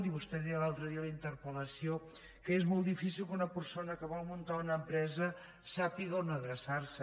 i vostè deia l’altre dia en la interpeldifícil que una persona que vol muntar una empresa sàpiga on adreçar se